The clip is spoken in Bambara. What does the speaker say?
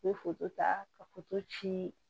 I bɛ ta ka ci